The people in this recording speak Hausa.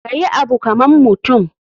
Kayi Abu kaman mutum.